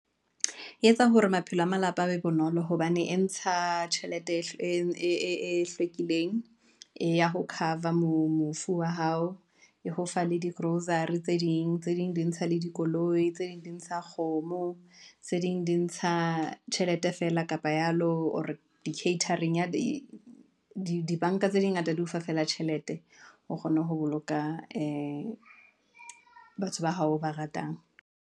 E etsa hore maphelo a malapa a be bonolo hobane e ntsha tjhelete e hlwekileng, eya ho cover mofu wa hao, e ho fa le di-grocery, tse ding di ntsha le dikoloi, tse ding di ntsha kgomo, tse ding di ntsha tjhelete feela, kapa yalo Or di-catering. di-bank-a tse di ngata di o fa feela tjhelete, o kgona ho boloka ee batho ba hao o ba ratang.